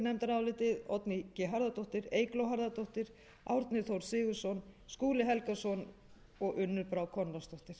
nefndarálitið oddný g harðardóttir eygló harðardóttir árni þór sigurðsson skúli helgason og unnur brá konráðsdóttir